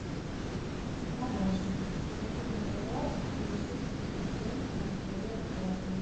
помощник помоги мне пожалуйста получить подтверждение моей оплаты